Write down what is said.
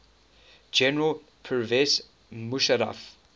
general pervez musharraf